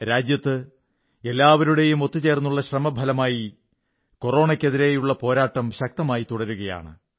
രാജ്യത്ത് എല്ലാവരുടെയും ഒത്തുചേർന്നുള്ള ശ്രമഫലമായി കൊറോണയ്ക്കെതിരെയുള്ള പോരാട്ടം ശക്തമായി തുടരുകയാണ്